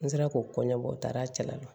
N sera k'o kɔɲɔbɔ u taara a cɛla la